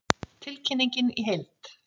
Tilkynningin í heild